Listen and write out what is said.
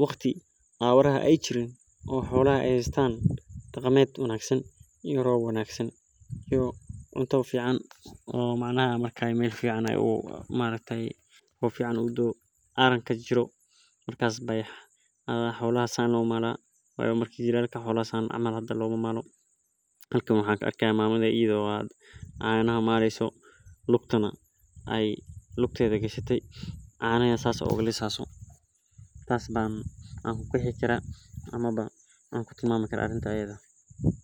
marki ee xolaha dargan yahan marka sas ban ku qaxi kara arintan hade awar jogan xolaha lamamali karo hada marka aran ayey jogan.